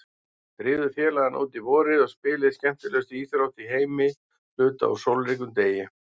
Drífðu félagana út í vorið og spilið skemmtilegustu íþrótt í heimi hluta úr sólríkum degi.